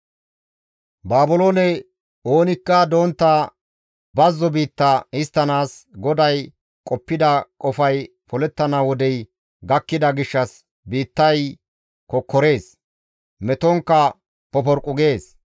Baabiloone oonikka dontta bazzo biitta histtanaas GODAY qoppida qofay polettana wodey gakkida gishshas biittay kokkorees; metonkka poporqqu gees.